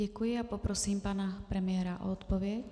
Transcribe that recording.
Děkuji a poprosím pana premiéra o odpověď.